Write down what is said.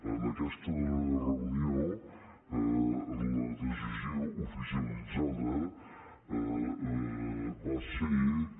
en aquesta darrera reunió la decisió oficialitzada va ser que